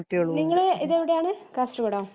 നിങ്ങള് ഇതെവിടാന് കാസർഗോഡോ